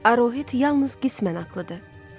Aruhet yalnız qismən ağıllıdır.